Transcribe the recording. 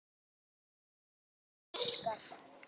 Þinn bróðir Óskar.